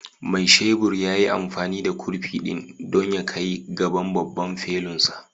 Mai shebur ya yi amfani da kurfi ɗin don ya kai gaban babban felunsa